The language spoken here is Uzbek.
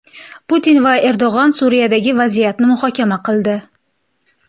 Putin va Erdo‘g‘on Suriyadagi vaziyatni muhokama qildi.